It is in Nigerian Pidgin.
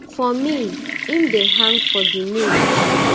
for me im dey hang for di moon